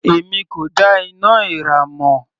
Èmi kò dá iná èèrà mọ̀.